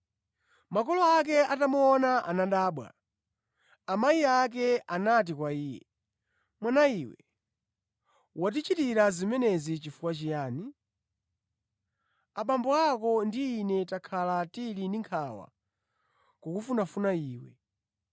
Makolo ake atamuona, anadabwa. Amayi ake anati kwa Iye, “Mwanawe, watichitira zimenezi chifukwa chiyani? Abambo ako ndi ine takhala tili ndi nkhawa kukufunafuna Iwe.”